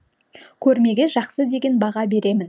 көрмеге жақсы деген баға беремін